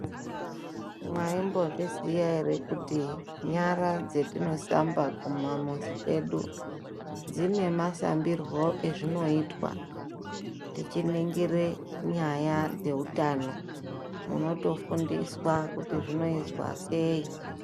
Mwaimbozviziya ere kuti nyara dzatinosamba kumamizi kwedu dzine masambirwe ezvinoitwa tichiningire nyaya dzeutano munotofundiswa kuti zviozwa sei?